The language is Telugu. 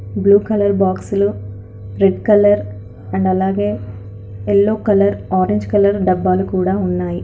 బ్లూ కలర్ బాక్సులు రెడ్ కలర్ అండ్ అలాగే ఎల్లో కలర్ ఆరెంజ్ కలర్ డబ్బాలు కూడా ఉన్నాయి.